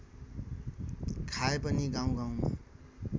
खाए पनि गाउँगाउँमा